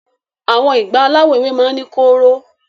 Awọn ìgbá alawọ ewé máa ni korò.